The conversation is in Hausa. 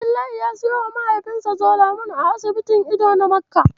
Abdullahi ya siyowa mahaifinsa Zolamol a asibitin ido na Makka.